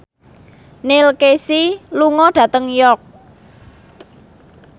Neil Casey lunga dhateng York